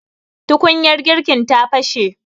tukunyar girkin ta fashe